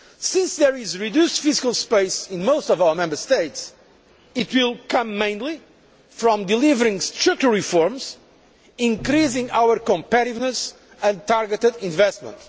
Since there is reduced fiscal space in most of our Member States, it will come mainly from delivering structural reforms, increasing our competitiveness and targeted investment.